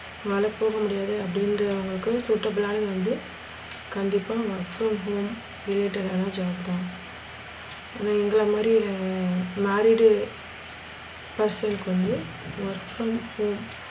நாளைக்கு போக முடியாது அப்டிங்கற அவுங்களுக்கு suitable வந்து கண்டிப்பா work from home related ஆனா job தான். எங்கள மாறி உள்ளவங்க married person க்கு வந்து work from home